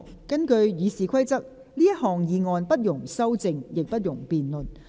根據《議事規則》，這項議案不容修正，亦不容辯論。